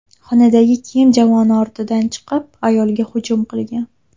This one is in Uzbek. xonadagi kiyim javoni ortidan chiqib, ayolga hujum qilgan.